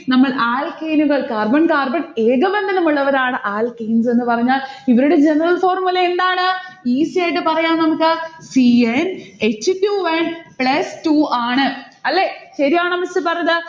നമ്മൾ alkane നുകൾ carbon carbon ഏകബന്ധനം ഉള്ളവരാണ് alkanes എന്ന് പറഞ്ഞാൽ. ഇവരുടെ general formula എന്താണ്? easy ആയിട്ട് പറയാം നമ്മുക്ക് c n h two n plus two ആണ്. അല്ലെ? ശരിയാണോ miss പറഞ്ഞത്?